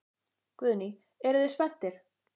Guðný: Eruð þið spenntir?